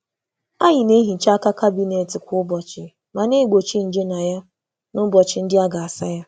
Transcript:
Anyị na-asacha aka akpati kwa ụbọchị, ma na-egbochi nje ha n’ụbọchị nhicha.